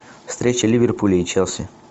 встреча ливерпуля и челси